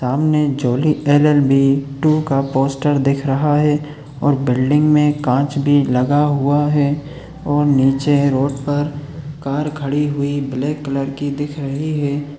सामने Jolly L L B two का poster दिख रहा है और बिल्डिंग मे कांच भी लगा हुआ है और नीचे रोड पर कार खड़ी हुई ब्लैक कलर की दिख रही है।